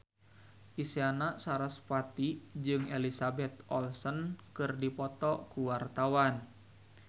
Isyana Sarasvati jeung Elizabeth Olsen keur dipoto ku wartawan